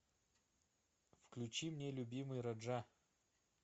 включи мне любимый раджа